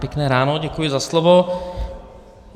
Pěkné ráno, děkuji za slovo.